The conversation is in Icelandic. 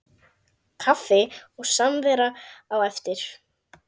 Kaffi og samvera á eftir.